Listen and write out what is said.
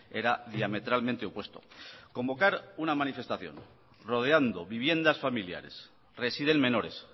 era diametralmente opuesto convocar una manifestación rodeando viviendas familiares residen menores